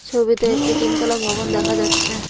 ছবিতে একটি তিনতলা ভবন দেখা যাচ্ছে।